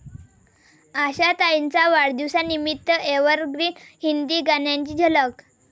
आशाताईंच्या वाढदिवसानिमित्त एव्हरग्रीन हिंदी गाण्यांची झलक